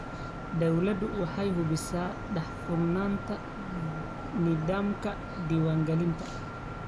Dawladdu waxay hubisaa daahfurnaanta nidaamka diiwaangelinta.